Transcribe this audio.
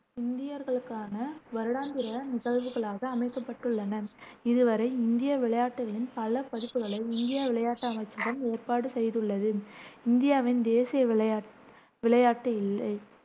இந்தியர்களுக்கான வருடாந்திர நிகழ்வுகளாக அமைக்கப்பட்டுள்ளன. இதுவரை, இந்திய விளையாட்டுகளின் பல பதிப்புகளை இந்திய விளையாட்டு அமைச்சகம் ஏற்பாடு செய்துள்ளது இந்தியாவின் தேசிய விளை விளையாட்டு இல்லை